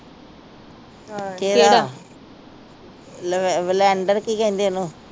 ਕੇਹੜਾ lavender ਕਿ ਕਹਿੰਦੇ ਓਹਨੂੰ